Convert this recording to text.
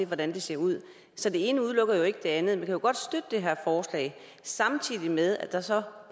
hvordan det ser ud så det ene udelukker ikke det andet for man kan godt støtte det her forslag samtidig med at der så